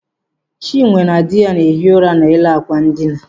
Chinwe na dị ya na-ehi ụra n'elu àkwà ndina.